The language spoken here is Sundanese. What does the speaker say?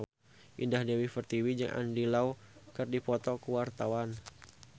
Indah Dewi Pertiwi jeung Andy Lau keur dipoto ku wartawan